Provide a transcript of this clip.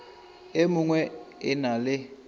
e mengwe e na le